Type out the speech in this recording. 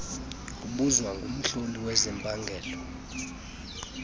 obuzwa ngumhloli wezempangelo